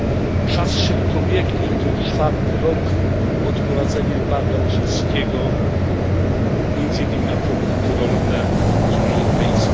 Czas szybko biegnie, to już czwarty rok od wprowadzenia embarga rosyjskiego, między innymi na produkty rolne z Unii Europejskiej.